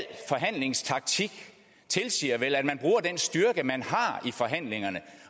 forhandlingstaktik tilsiger vel at man bruger den styrke man har i forhandlingerne